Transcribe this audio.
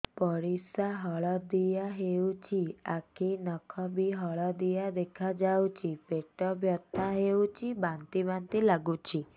ପରିସ୍ରା ହଳଦିଆ ହେଉଛି ଆଖି ନଖ ବି ହଳଦିଆ ଦେଖାଯାଉଛି ପେଟ ବଥା ହେଉଛି ବାନ୍ତି ବାନ୍ତି ଲାଗୁଛି